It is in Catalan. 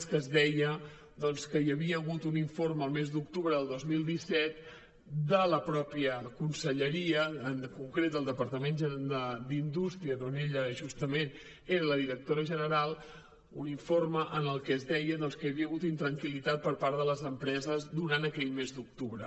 es que deia que hi havia hagut un informe el mes d’octubre del dos mil disset de la mateixa conselleria en concret del departament d’indústria d’on ella justament era la directora general un informe en què es deia que hi havia hagut intranquil·litat per part de les empreses durant aquell mes d’octubre